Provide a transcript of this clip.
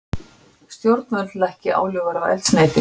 Stjórnvöld lækki álögur á eldsneyti